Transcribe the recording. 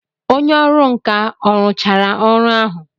Onye ọrụ nka ọ rụchara ọrụ ahụ?